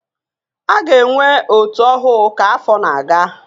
A ga-enwe ótú ọhụụ ka afọ na-aga